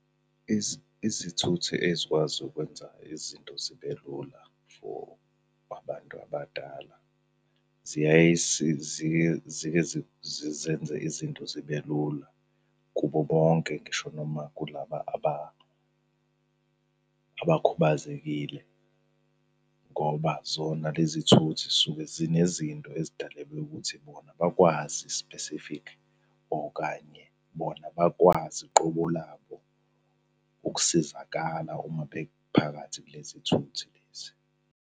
Izithuthi ezikwazi ukwenza izinto zibe lula for abantu abadala zike zizenze izinto zibe lula kubo bonke, ngisho noma kulaba abakhubazekile, ngoba zona lezithuthi zisuke zinezinto ezidalelwe ukuthi bona bakwazi specific okanye bona bakwazi qobo labo ukusizakala uma bephakathi kulezi thuthi lezi.